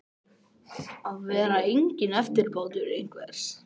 Að vera enginn eftirbátur einhvers